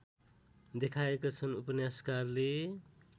देखाएका छन् उपन्यासकारले